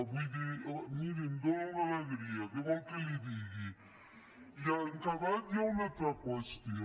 vull dir miri em dóna una alegria què vol que li digui i en acabat hi ha una altra qüestió